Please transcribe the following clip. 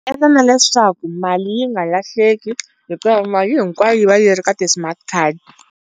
Endla na leswaku mali yi nga lahleki hikuva mali hinkwayo yi va yi ri ka ti-smart card.